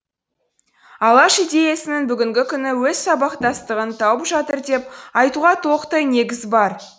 алаш идеясының бүгінгі күні өз сабақтастығын тауып жатыр деп айтуға толықтай негіз бар